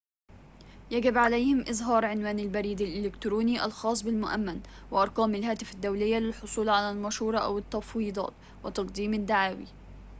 يجب عليهم إظهار عنوان البريد الإلكتروني الخاص بالمؤمّن وأرقام الهاتف الدولية للحصول على المشورة/التفويضات وتقديم الدعاوي